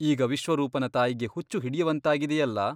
ಈಗ ವಿಶ್ವರೂಪನ ತಾಯಿಗೆ ಹುಚ್ಚು ಹಿಡಿಯುವಂತಾಗಿದೆಯಲ್ಲ?